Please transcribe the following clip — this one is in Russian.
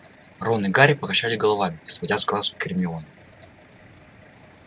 рон и гарри покачали головами не сводя глаз с гермионы